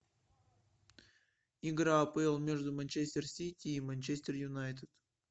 игра апл между манчестер сити и манчестер юнайтед